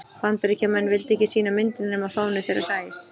bandaríkjamenn vildu ekki sýna myndina nema fáni þeirra sæist